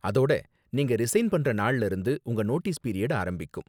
அதோட, நீங்க ரிசைன் பண்ற நாள்ல இருந்து உங்க நோட்டீஸ் பீரியட் ஆரம்பிக்கும்.